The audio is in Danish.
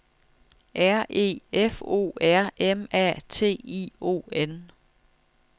R E F O R M A T I O N